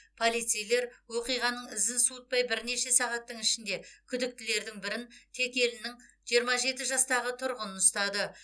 полицейлер оқиғаның ізін суытпай бірнеше сағаттың ішінде күдіктілердің бірін текелінің жиырма жеті жастағы тұрғынын ұстады